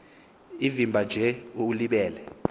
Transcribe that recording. evimba nje ulibele